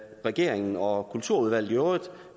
regeringen og kulturudvalget i øvrigt